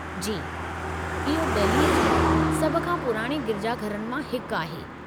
जी, इहो दहिली जे सभ खां पुराणे गिरिजाघरनि मां हिकु आहे।